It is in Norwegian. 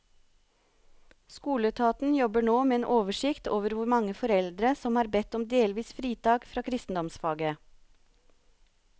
Skoleetaten jobber nå med en oversikt over hvor mange foreldre som har bedt om delvis fritak fra kristendomsfaget.